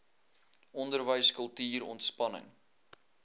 onderwys kultuur ontspanning